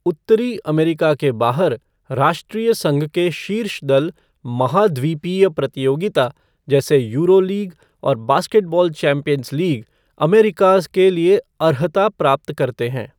उत्तरी अमेरिका के बाहर, राष्ट्रीय संघ के शीर्ष दल महाद्वीपीय प्रतियोगिता जैसे यूरोलीग और बास्केटबॉल चैंपियंस लीग अमेरिकाज़ के लिए अर्हता प्राप्त करते हैं।